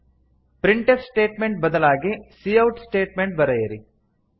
printf statement ಬದಲಾಗಿ cout statement ಬರೆಯಿರಿ